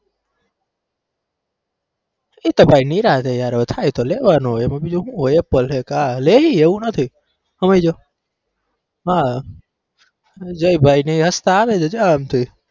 એતો ભાઈ નિરાંતે યાર થાય તો લેવાનું એમાં બીજું હુ હોય apple હોય કે આ લઇએ એવું નથી હમયજો હા જય ભાઈને હસતા આવે